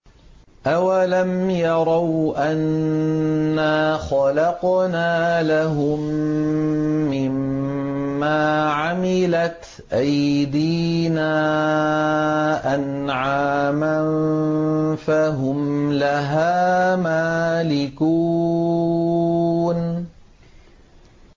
أَوَلَمْ يَرَوْا أَنَّا خَلَقْنَا لَهُم مِّمَّا عَمِلَتْ أَيْدِينَا أَنْعَامًا فَهُمْ لَهَا مَالِكُونَ